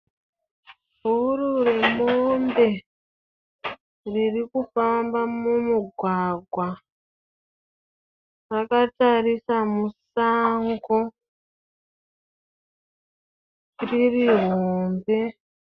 Bhuru remombe ririkufamba mumugwagwa rakatarisa musango ririhombe.